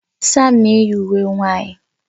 Sam na-eyi uwe nwanyị